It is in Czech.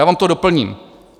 Já vám to doplním.